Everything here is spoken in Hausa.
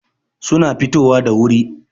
suna fitowa da wuri